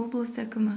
облыс әкімі